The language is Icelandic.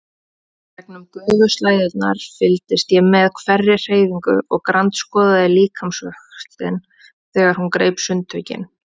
Gegnum gufuslæðurnar fylgdist ég með hverri hreyfingu og grandskoðaði líkamsvöxtinn þegar hún greip sundtökin.